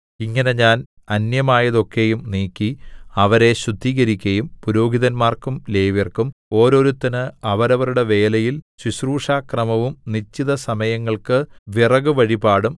ഇങ്ങനെ ഞാൻ അന്യമായതൊക്കെയും നീക്കി അവരെ ശുദ്ധീകരിക്കയും പുരോഹിതന്മാർക്കും ലേവ്യർക്കും ഓരോരുത്തന് അവരവരുടെ വേലയിൽ ശുശ്രൂഷക്രമവും നിശ്ചിതസമയങ്ങൾക്ക് വിറകുവഴിപാടും